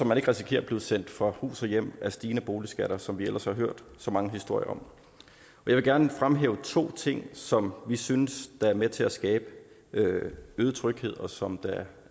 man ikke risikerer at blive sendt fra hus og hjem af stigende boligskatter som vi ellers har hørt så mange historier om jeg vil gerne fremhæve to ting som vi synes er med til at skabe øget tryghed og som